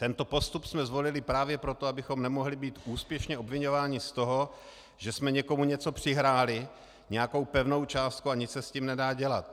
Tento postup jsme zvolili právě proto, abychom nemohli být úspěšně obviňování z toho, že jsme někomu něco přihráli, nějakou pevnou částku a nic se s tím nedá dělat.